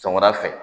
Sɔgɔmada fɛ